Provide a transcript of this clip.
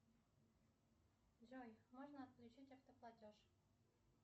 джой можно отключить автоплатеж